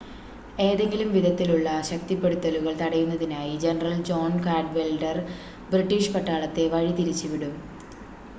ഏതെങ്കിലും വിധത്തിലുള്ള ശക്തിപ്പെടത്തലുകൾ തടയുന്നതിനായി ജനറൽ ജോൺ കാഡ്‌വെൽഡർ ബ്രിട്ടീഷ് പട്ടാളത്തെ വഴി തിരിച്ച് വിടും